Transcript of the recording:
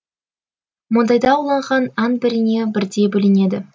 мұндайда ауланған аң біріне бірдей бөлінеді